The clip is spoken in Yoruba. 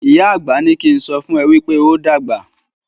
ìyá àgbà ní kín sọfún e wípé óo dàgbà.